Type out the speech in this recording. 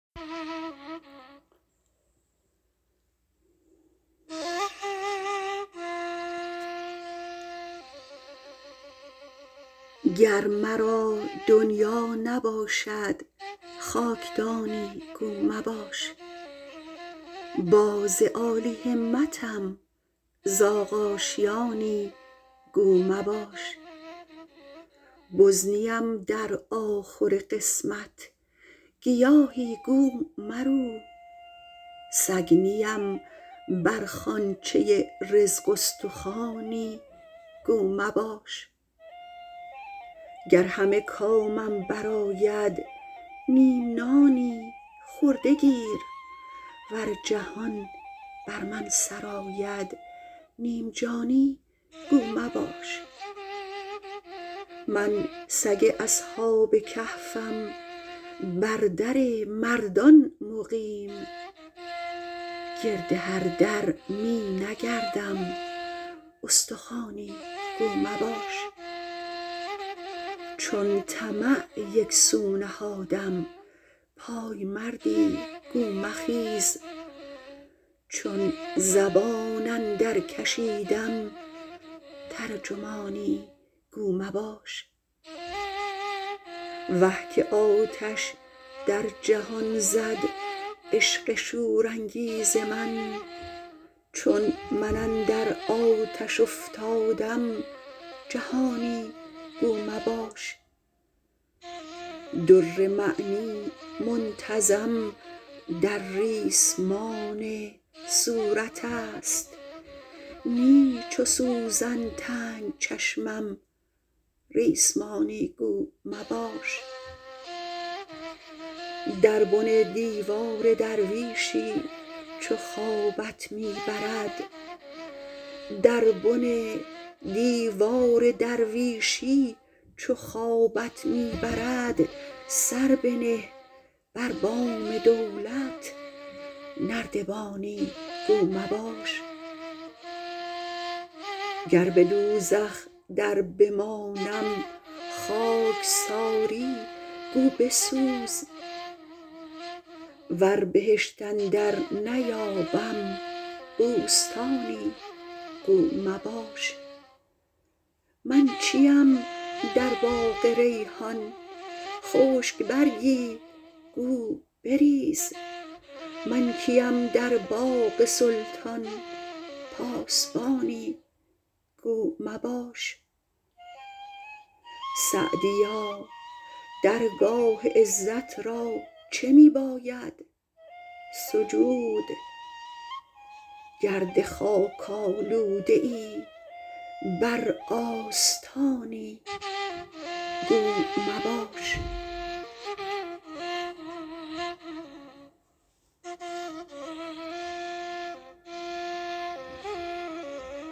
گر مرا دنیا نباشد خاکدانی گو مباش باز عالی همتم زاغ آشیانی گو مباش بز نیم در آخور قسمت گیاهی گو مرو سگ نیم بر خوانچه رزق استخوانی گو مباش گر همه کامم برآید نیم نانی خورده گیر ور جهان بر من سرآید نیم جانی گو مباش من سگ اصحاب کهفم بر در مردان مقیم گرد هر در می نگردم استخوانی گو مباش چون طمع یکسو نهادم پایمردی گو مخیز چون زبان اندر کشیدم ترجمانی گو مباش وه که آتش در جهان زد عشق شورانگیز من چون من اندر آتش افتادم جهانی گو مباش در معنی منتظم در ریسمان صورت است نی چو سوزن تنگ چشمم ریسمانی گو مباش در بن دیوار درویشی چو خوابت می برد سر بنه بر بام دولت نردبانی گو مباش گر به دوزخ در بمانم خاکساری گو بسوز ور بهشت اندر نیابم بوستانی گو مباش من چیم در باغ ریحان خشک برگی گو بریز من کیم در باغ سلطان پاسبانی گو مباش سعدیا درگاه عزت را چه می باید سجود گرد خاک آلوده ای بر آستانی گو مباش